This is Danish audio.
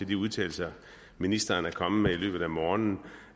de udtalelser ministeren er kommet med i løbet af morgenen